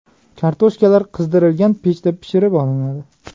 Kartoshkalar qizdirilgan pechda pishirib olinadi.